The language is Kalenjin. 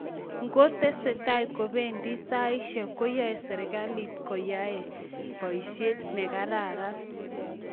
ngo tesetai kobendi saishek koyae serikalit koyae boishet ne karan